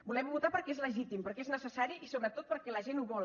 volem votar perquè és legítim perquè és necessari i sobretot perquè la gent ho vol